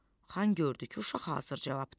Xan gördü ki, uşaq hazır cavabdır.